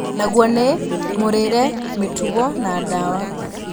Naguo nĩ; mũrĩĩre, mĩtugo na dawa